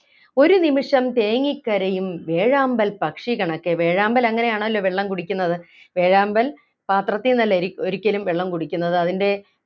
ഒരു നിമിഷം തേങ്ങിക്കരയും വേഴാമ്പൽപ്പക്ഷികണക്കെ വേഴാമ്പൽ അങ്ങനെയാണല്ലോ വെള്ളം കുടിക്കുന്നത് വേഴാമ്പൽ പാത്രത്തിൽ നിന്നല്ലേരി ഒരിക്കലും വെള്ളം കുടിക്കുന്നത് അതിൻ്റെ